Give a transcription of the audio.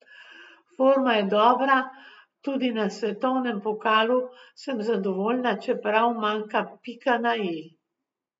Forma je dobra, tudi na svetovnem pokalu sem zadovoljna, čeprav manjka pika na i.